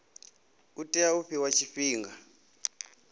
u tea u fhiwa tshifhinga